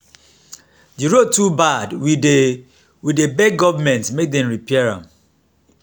the road too bad we dey we dey beg government make dem repair am.